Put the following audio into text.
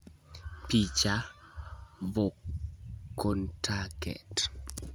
Picha: Vkontakte